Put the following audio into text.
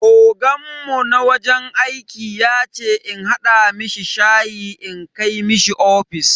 Oganmu na wajen aiki yace in hada mishi shayi in kai mishi ofis.